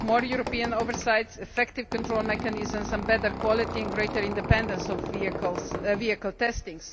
We need more European oversight, effective control mechanisms and better quality and greater independence of vehicle testing.